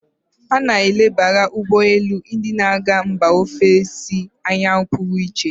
A na-elebara ugbọ elu ndị na-aga mba ofesi anya pụrụ iche.